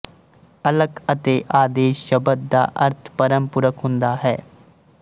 ਅਲਖ ਅਤੇ ਆਦੇਸ਼ ਸ਼ਬਦ ਦਾ ਅਰਥ ਪਰਮ ਪੁਰਖ ਹੁੰਦਾ ਹੈ